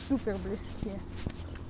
супер близки